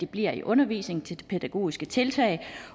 bliver i undervisningen til de pædagogiske tiltag